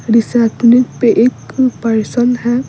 रेसपनीक पे एक पर्सन है।